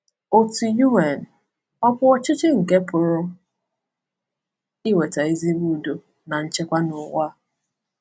Òtù UN ọ̀ bụ ọchịchị nke pụrụ iweta ezigbo udo na nchekwa n’ụwa?